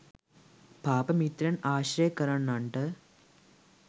පාප මිත්‍රයන් ආශ්‍රය කරන්නන්ට